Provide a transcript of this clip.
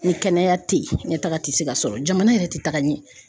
Ni kɛnɛya tɛ ye ɲɛtaga te se ka sɔrɔ jamana yɛrɛ te taga ɲɛ.